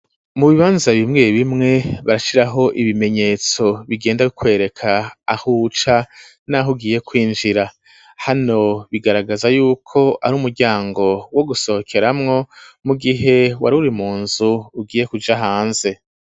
Mu bibanza bimweye bimwe barashiraho ibimenyetso bigenda bikwereka ahuca naho ugiye kwinjira hano bigaragaza yuko ari umuryango wo gusohokeramwo mu gihe waruri munzu ugiye kuja hanze